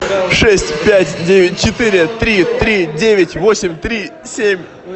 шесть пять девять четыре три три девять восемь три семь